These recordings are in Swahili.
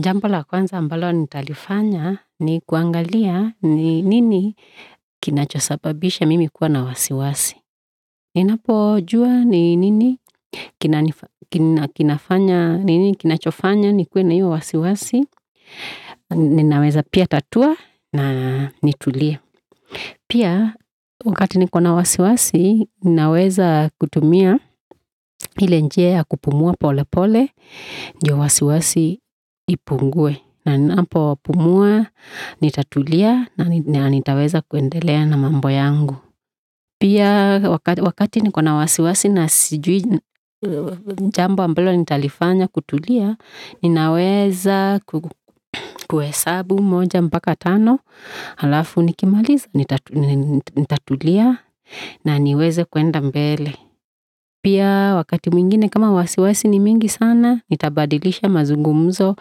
Jambo la kwanza ambalo nitalifanya ni kuangalia ni nini kinacho sababisha mimi kuwa na wasiwasi. Ninapojua ni nini kinachofanya nikuwe na hio wasiwasi, ninaweza pia tatua na nitulie. Pia wakati niko na wasiwasi, ninaweza kutumia hile njia kupumuwa pole pole, ndio wasiwasi ipungue. Na ninapo pumuwa, nitatulia, na nitaweza kuendelea na mambo yangu. Pia wakati niko na wasiwasi, na sijui Jambo ambalo nitalifanya kutulia, ninaweza kuhesabu moja mpaka tano, alafu nikimaliza, nitatulia, na niweze kuenda mbele. Pia wakati mwingine kama wasiwasi ni mingi sana, nitabadilisha mazungumuzo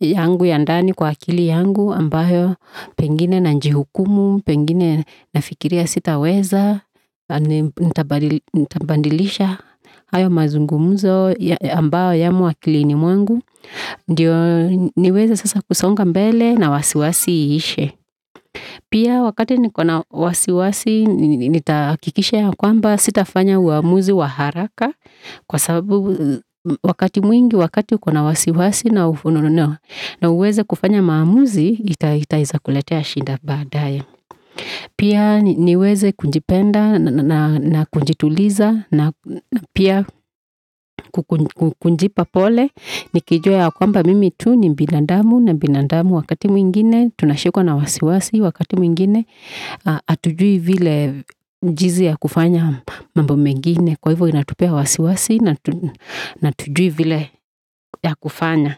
yangu ya ndani kwa akili yangu, ambayo pengine nanjihukumu, pengine nafikiria sitaweza, nitabadilisha ayo mazungumuzo ambao yamo akilini mwangu, ndio niweze sasa kusonga mbele na wasiwasi iishe. Pia wakati niko na wasiwasi, nitahakikisha ya kwamba sitafanya uamuzi wa haraka, kwa sababu wakati mwingi wakati uko na wasiwasi na ufununu, na uweze kufanya maamuzi itaeza kuletea shinda baadaye. Pia niweze kunjipenda na kunjituliza na pia kunjipa pole, nikijua ya kwamba mimi tu ni binadamu na binadamu wakati mwingine, tunashikwa na wasiwasi wakati mwingine, atujui vile jinzi ya kufanya mambo mengi, kwa ivo inatupea wasiwasi na atujui vile ya kufanya.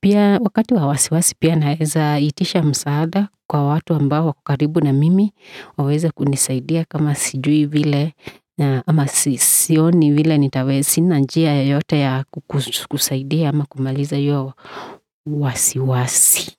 Pia wakati wa wasiwasi pia naeza itisha msaada kwa watu ambao wako karibu na mimi, waweze kunisaidia kama sijui vile, ni vile nitaweza sina njia yoyote ya kukusaidia ama kumaliza hio wasiwasi.